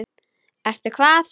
Ertu hvað?